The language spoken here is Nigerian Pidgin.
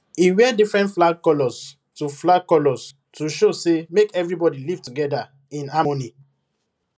e wear different flag colors to flag colors to show say make everybody live together in harmony